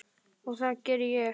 Og það geri ég.